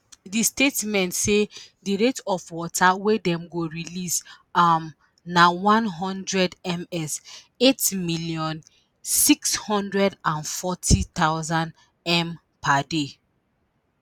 di statement say di rate of water wey dem go release um na “100m³/s (8640000m³/ per day).”